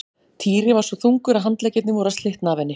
Týri var svo þungur að handleggirnir voru að slitna af henni.